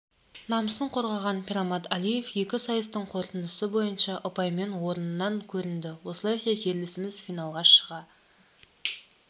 намысын қорғаған пирмаммад алиев екі сайыстың қорытындысы бойынша ұпаймен орыннан көрінді осылайша жерлесіміз финалға шыға